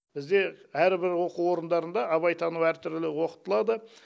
бізде әрбір оқу орындарында абайтану әртүрлі оқытылады